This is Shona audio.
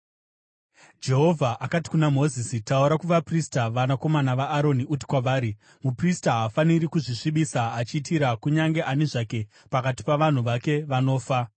Jehovha akati kuna Mozisi, “Taura kuvaprista vanakomana vaAroni uti kwavari: ‘Muprista haafaniri kuzvisvibisa, achiitira kunyange ani zvake pakati pavanhu vake vanofa.